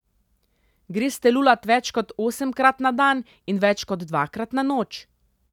Greste lulat več kot osemkrat na dan in več kot dvakrat na noč?